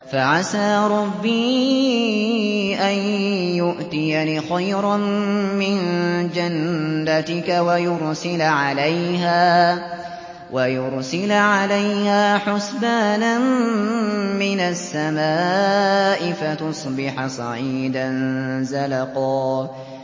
فَعَسَىٰ رَبِّي أَن يُؤْتِيَنِ خَيْرًا مِّن جَنَّتِكَ وَيُرْسِلَ عَلَيْهَا حُسْبَانًا مِّنَ السَّمَاءِ فَتُصْبِحَ صَعِيدًا زَلَقًا